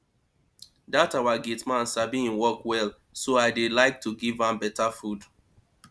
dat our gate man sabi im work well so i dey like to give am beta food